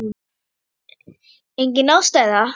Engin ástæða?